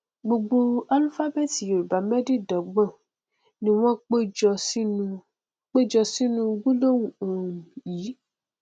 gbogbo álúfábẹẹtì yorùbá mẹdẹẹdọgbọn ni wọn péjọ sínú péjọ sínú gbólóhùn um yìí